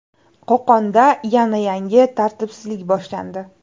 Qo‘qonda yana yangi tartibsizlik boshlandi.